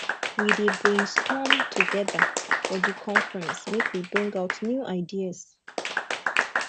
we dey brainstorm togeda for di conference make we bring out new ideas